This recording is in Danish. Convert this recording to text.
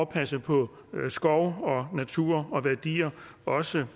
passe på skov og naturværdier også